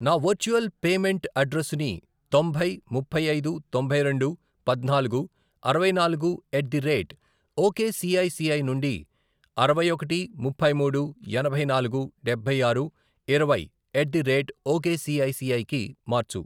నా virtual payment అడ్రెస్సుని తొంభై, ముప్పై ఐదు, తొంభై రెండు, పద్నాలుగు, అరవై నాలుగు, ఎట్ ది రేట్ ఒకేసిఐసిఐ నుండి అరవై ఒకటి, ముప్పై మూడు, ఎనభై నాలుగు, డబ్బై ఆరు, ఇరవై ఎట్ ది రేట్ ఒకేసిఐసిఐ కి మార్చు.